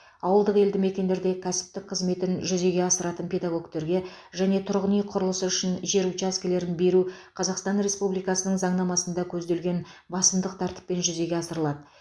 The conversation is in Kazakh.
ауылдық елді мекендерде кәсіптік қызметін жүзеге асыратын педагогтерге жеке тұрғын үй құрылысы үшін жер учаскелерін беру қазақстан республикасының заңнамасында көзделген басымдық тәртіппен жүзеге асырылады